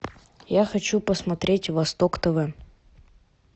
я хочу посмотреть восток тв